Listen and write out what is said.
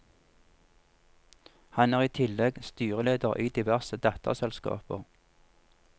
Han er i tillegg styreleder i diverse datterselskaper.